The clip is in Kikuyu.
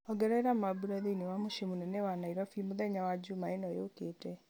ongerera mambura thĩinĩ wa mũciĩ mũnene wa nairobi mũthenya wa njuma ĩno yũkĩte